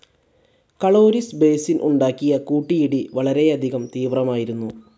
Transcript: Caloris basin ഉണ്ടാക്കിയ കൂട്ടിയിടി വളരെയധികം തീവ്രമായിരുന്നു.